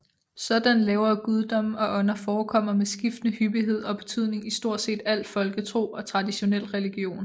Sådanne lavere guddomme og ånder forekommer med skiftende hyppighed og betydning i stort set al folketro og traditionel religion